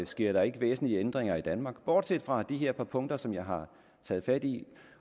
sker der ikke væsentlige ændringer i danmark bortset fra de her par punkter som jeg har taget fat i